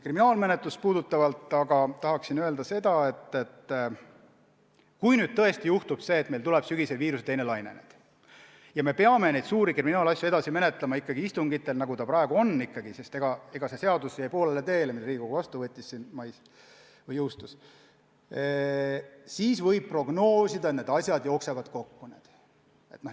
Kriminaalmenetluse kohta tahan öelda seda, et kui tõesti juhtub see, et meil tuleb sügisel viiruse teine laine ja me peame suuri kriminaalasju edasi menetlema ikkagi istungitel, nagu ta praegu on – see seadus, mille Riigikogu vastu võttis ja mis mais jõustus, jäi poolele teele –, siis võib prognoosida, et need asjad jooksevad nüüd kokku.